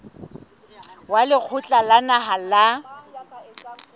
wa lekgotla la naha la